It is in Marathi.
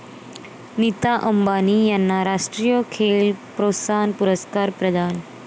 नीता अंबानी यांना राष्ट्रीय खेल प्रोत्साहन पुरस्कार प्रदान